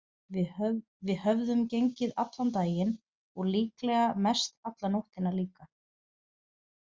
Við höfðum gengið allan daginn og líklega mestalla nóttina líka.